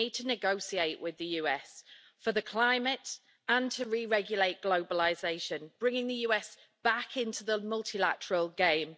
We need to negotiate with the USA for the climate and to re regulate globalisation, bringing the USA back into the multilateral game.